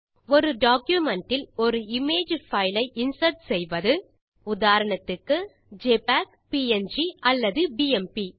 ஒரு டாக்குமென்ட் இல் ஒருimage பைல் ஐ இன்சர்ட் செய்வது உதாரணத்துக்கு ஜெபிஇஜி ப்ங் அல்லது பிஎம்பி